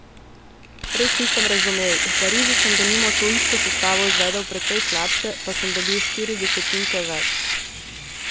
Res nisem razumel, v Parizu sem denimo to isto sestavo izvedel precej slabše, pa sem dobil štiri desetinke več.